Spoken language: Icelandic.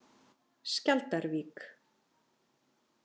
Skjaldarvík